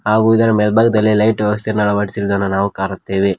ಹಾಗು ಇದರ ಮೇಲ್ಭಾಗದಲ್ಲಿ ಲೈಟ್ ವ್ಯವಸ್ಥೆ ಅನ್ನು ಅಳವಡಿಸಿರುವುದನ್ನು ನಾವು ಕಾಣುತ್ತೇವೆ.